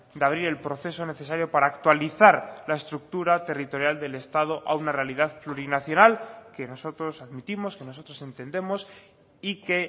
de abrir el proceso necesario para actualizar la estructura territorial del estado a una realidad plurinacional que nosotros admitimos que nosotros entendemos y que